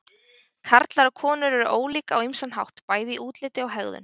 Karlar og konur eru ólík á ýmsan hátt, bæði í útliti og hegðun.